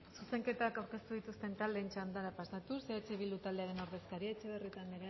zuzenketak aurkeztu dituzten taldeen txandara pasatuz eh bildu taldearen ordezkaria etxebarrieta anderea